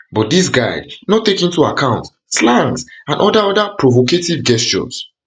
but dis guide no dey take into account slangs or oda oda provocative gestures